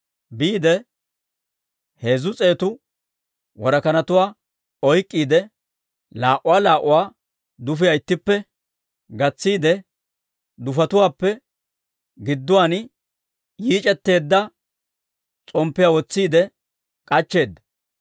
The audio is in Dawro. Biide, heezzu s'eetu worakanatuwaa oyk'k'iide laa"uwaa laa"uwaa dufiyaa ittippe gatsiide, dufetuwaappe gidduwaan yiic'etteedda s'omppiyaa wotsiide k'achcheedda.